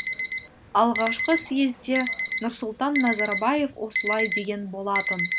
алғашқы съезде нұрсұлтан назарбаев осылай деген болатын